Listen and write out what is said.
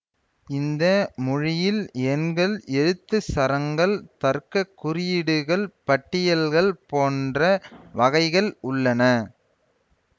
இந்த மொழியில் எண்கள் எழுத்துச் சரங்கள் தர்க்கக் குறியீடுகள் பட்டியல்கள் போன்ற வகைகள் உள்ளன